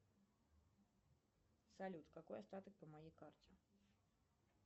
салют какой остаток по моей карте